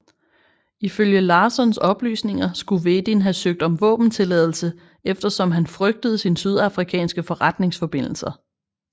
Ifølge Larssons oplysninger skulle Wedin have søgt om våbentilladelse eftersom han frygtede sin sydafrikanske forretningsforbindelser